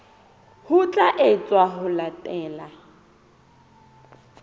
ho tla etswa ho latela